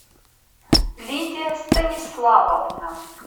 лидия станиславовна